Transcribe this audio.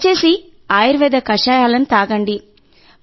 దయచేసి ఆయుర్వేద కషాయాలను తాగండి